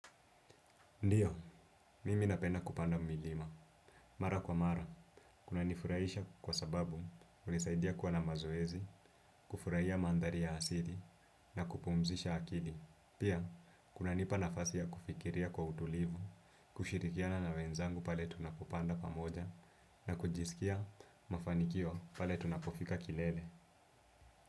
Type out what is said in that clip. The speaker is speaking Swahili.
Ndiyo, mimi napenda kupanda milima. Mara kwa mara, kunanifurahisha kwa sababu hunisaidia kuwa na mazoezi, kufurahia maandhari ya asili, na kupumzisha akili. Pia, kunanipa nafasi ya kufikiria kwa utulivu, kushirikiana na wenzangu pale tunapopanda pamoja, na kujisikia mafanikio pale tunapofika kilele.